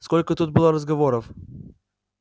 сколько тут было разговоров